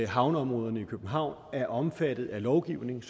havneområderne i københavn er omfattet af lovgivning